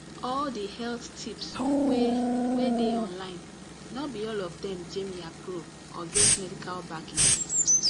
all the health tips wey wey dey online no be all of them jamie approve or get medical backing